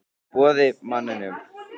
Boði: Manninum?